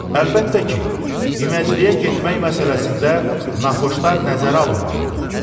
Əlbəttə ki, iməciliyə getmək məsələsində naxxoşlar nəzərə alınmalıdır.